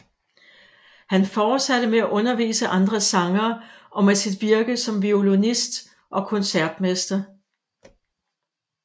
Han fortsatte med at undervise andre sangere og med sit virke som violinist og koncertmester